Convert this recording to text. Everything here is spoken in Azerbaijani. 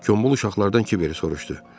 Gombul uşaqlardan Kiveri soruşdu.